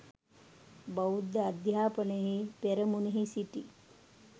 බෞද්ධ අධ්‍යාපනයෙහි පෙරමුනෙහි සිටි